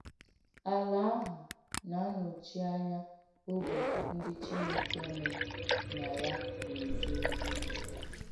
Àlà àhụ̀ nà-ànòchí ányà ógbè ndí Chínékè nò nà yà nà-èjè òzì hà.